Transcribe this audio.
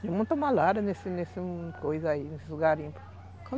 Tem muita malária nesse nesse nessas coisas aí, nesses garimpos.